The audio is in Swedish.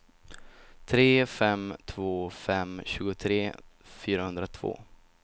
tre fem två fem tjugotre fyrahundratvå